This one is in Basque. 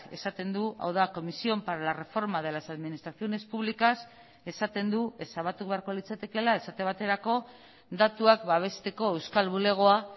esaten du hau da comisión para la reforma de las administraciones públicas esaten du ezabatu beharko litzatekeela esate baterako datuak babesteko euskal bulegoa